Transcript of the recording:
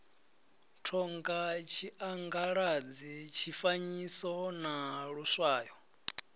thonga tshiangaladzi tshifanyiso na luswayo